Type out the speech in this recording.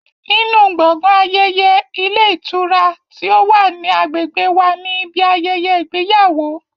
Nínú gbọ̀ngàn ayẹyẹ ilé ìtura ti ó wà ní agbègbè wa ni ibi ayẹyẹ ìgbéyàwó